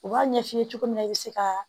U b'a ɲɛ f'i ye cogo min na i bɛ se ka